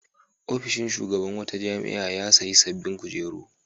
Ofishin shugaban wata jami'a ya sayi sabbin kujeru.